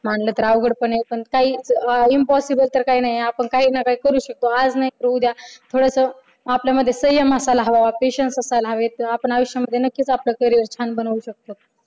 मानलं तर अवघड पण आहे पण काही impossible तर काही नाहीये आपण काही ना काही करू शकतो आज नाहीतर उद्या थोडंस आपल्यामध्ये संयम असायला हवा patience असायला हवे. आपण आयुष्यामध्ये नक्कीच आपल करियर छान बनवू शकतो.